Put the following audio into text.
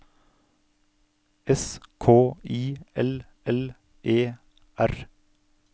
S K I L L E R